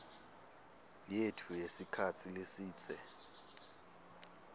yetfu yesikhatsi lesidze